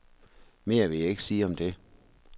Mere vil jeg ikke sige om det.